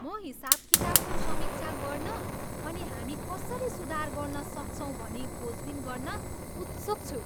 म हिसाबकिताबको समीक्षा गर्न अनि हामी कसरी सुधार गर्न सक्छौँ भनी खोजबिन गर्न उत्सुक छु।